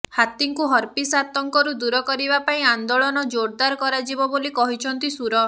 ହାତୀଙ୍କୁ herpes ଆତଙ୍କରୁ ଦୂର କରିବା ପାଇଁ ଆନ୍ଦୋଳନ ଜୋର୍ଦାର କରାଯିବ ବୋଲି କହିଛନ୍ତି ସୁର